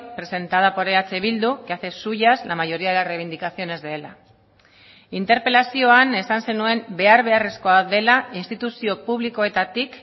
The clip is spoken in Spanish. presentada por eh bildu que hace suyas la mayoría de reivindicaciones de ela interpelazioan esan zenuen behar beharrezkoa dela instituzio publikoetatik